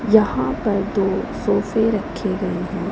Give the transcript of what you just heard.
यहां पर दो सोफे रखे गए हैं।